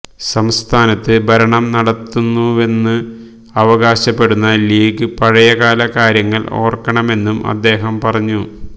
സംസ്ഥാനത്ത് ഭരണം നടത്തുന്നുവെന്ന് അവകാശപ്പെടുന്ന ലീഗ് പഴയകാല കാര്യങ്ങള് ഓര്ക്കണമെന്നും അദ്ദേഹം പറഞ്ഞു